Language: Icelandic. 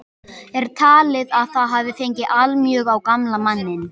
Er talið að það hafi fengið allmjög á gamla manninn.